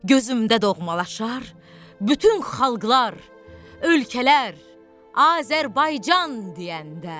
Gözümdə doğmalaşar bütün xalqlar, ölkələr Azərbaycan deyəndə.